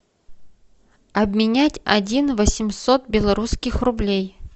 обменять один восемьсот белорусских рублей